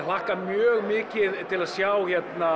hlakka mjög mikið til að sjá